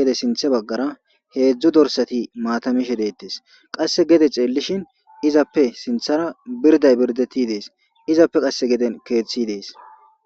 gede sinththe baggara heedzdzu dorasati maata mishe de'etes qasse gede xeellishin izappe sinththara birdday birdeti dees izappe qasse geden keeththi dees.